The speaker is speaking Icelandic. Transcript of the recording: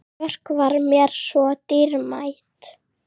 Björk var mér svo dýrmæt.